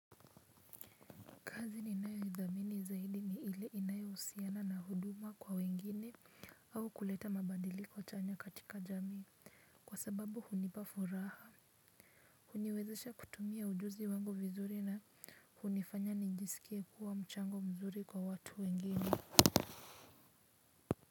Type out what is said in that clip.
Kazi ni inayo idhamini zaidi ni ile inayo husiana na huduma kwa wengine au kuleta mabadiliko chanya katika jamii kwa sababu hunipa furaha. Huniwezesha kutumia ujuzi wangu vizuri na hunifanya nijisikie kuwa mchango mzuri kwa watu wengine.